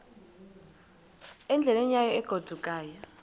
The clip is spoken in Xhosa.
endleleni yayo egodukayo